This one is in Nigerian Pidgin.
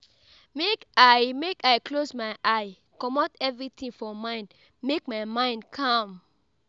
Make I Make I close my eye, comot everytin for mind make my mind calm.